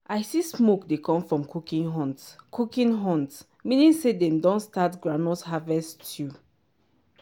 i see smoke dey come from cooking hut cooking hut meaning say dem don start groundnut harvest stew.